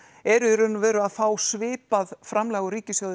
eru í raun og veru að fá svipað framlag úr ríkissjóði